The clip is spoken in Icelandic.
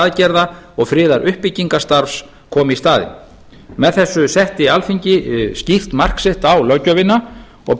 aðgerða og friðaruppbyggingarstarfs kom í staðinn með þessu setti alþingi skýrt mark sitt á löggjöfina og